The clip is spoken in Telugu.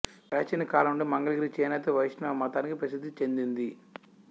ప్రాచీన కాలం నుండి మంగళగిరి చేనేతకు వైష్ణవ మతానికి ప్రసిద్ధి చెందింది